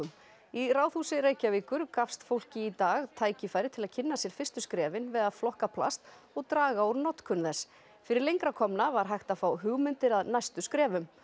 í Ráðhúsi Reykjavíkur gafst fólki í dag tækifæri til að kynna sér fyrstu skrefin við að flokka plast og draga úr notkun þess fyrir lengra komna var hægt að fá hugmyndir að næstu skrefum